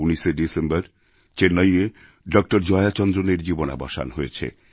১৯শে December চেন্নাইয়ে doctor Jaya চন্দ্রনের জীবনাবসান হয়েছে